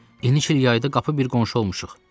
İki il yayda qapı bir qonşu olmuşuq.